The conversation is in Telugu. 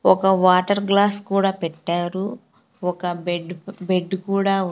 ఒక వాటర్ గ్లాస్ కూడా పెట్టారు ఒక బెడ్ బెడ్ కూడా ఉం--